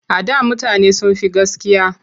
A da mutane sun fi gaskiya.